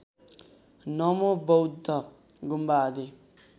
नमोबौद्ध गुम्बा आदि